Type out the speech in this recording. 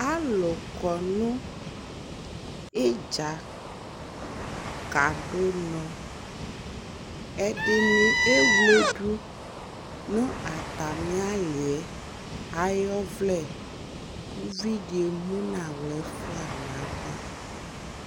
alʋ kɔnʋ itdza kadʋ ʋnɔ, ɛdini ɛwlɛdʋ nʋ atami aliɛ ayi ɔvlɛ, ʋvidi ɛmʋnʋ ala ɛƒʋa nʋ aɣa